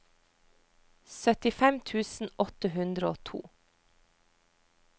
syttifem tusen åtte hundre og to